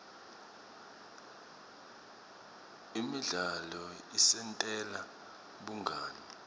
imidzalo isentela bungani